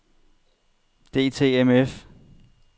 DTMF